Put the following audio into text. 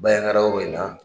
Bayankara hogo in na